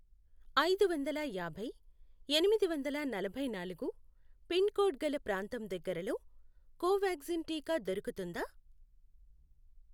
ఐదువందల యాభై, ఎనిమిదివందల నలభైనాలుగు పిన్ కోడ్ గల ప్రాంతం దగ్గరలో కోవాక్సిన్ టీకా దొరుకుతుందా?